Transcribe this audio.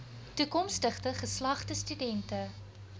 toekomstige geslagte studente